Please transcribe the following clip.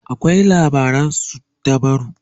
akwai labaran suddabaru